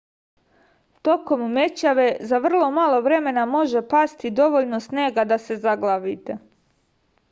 tokom mećave za vrlo malo vremena može pasti dovoljno snega da se zaglavite